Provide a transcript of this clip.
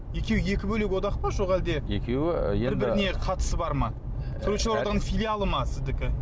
екеуі екі бөлек одақ па жоқ әлде бір біріне қатысы бар ма суретшілер одағының филиалы ма сіздікі